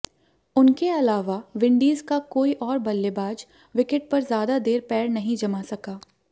उनके अलावा विंडीज का कोई और बल्लेबाज विकेट पर ज्यादा देर पैर नहीं जमा सका